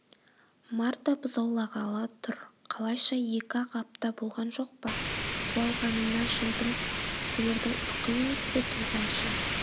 марта бұзаулағалы тұр қалайша екі-ақ апта болған жоқ па суалғанына жылдым сиырдың ұрқы емес пе туғанша